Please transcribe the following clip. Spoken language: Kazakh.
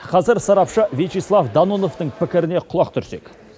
қазір сарапшы вячеслав дононовтың пікіріне құлақ түрсек